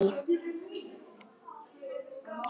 Má ekki gleyma því.